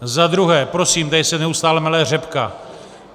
Za druhé, prosím, tady se neustále mele řepka.